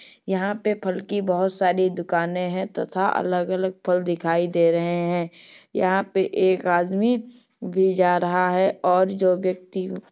यहां पे फल की बहुत सारी दुकाने हैं तथा अलग-अलग फल दिखाई दे रहे हैं। यहां पे एक आदमी भी जा रहा है और जो व्यक्ति --